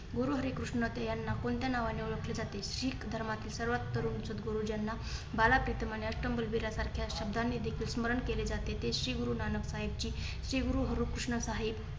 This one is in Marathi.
गुरुहरी कृष्ण तर यांना कोणत्या नावाने ओळखले जाते. शिख धर्मातील सर्वात तरुण सद्गुरु ज्यांना बाला प्रीतम आणि अष्टम बालविरासारखा शब्दाने देखील स्मरण केले जाते. ते श्री गुरु नानक साहेबजी श्रीगुरु हरेकृष्ण साहिब.